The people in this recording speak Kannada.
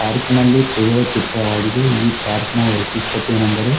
ಪಾರ್ಕಿ ನಲ್ಲಿ ತೆಗೆದ ಚಿತ್ರವಾಗದೆ ಈ ಪಾರ್ಕಿ ನ ವೈಶಿಷ್ಟ್ಯತೆ ಏನೆಂದರೆ --